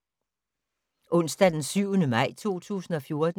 Onsdag d. 7. maj 2014